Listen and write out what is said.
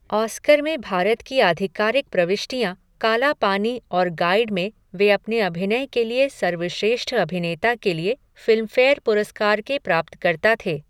Oscar में भारत की आधिकारिक प्रविष्टियाँ काला पानी और गाइड में वे अपने अभिनय के लिए सर्वश्रेष्ठ अभिनेता के लिए फ़िल्मफ़ेयर पुरस्कार के प्राप्तकर्ता थे।